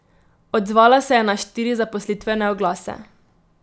Odzvala se je na štiri zaposlitvene oglase.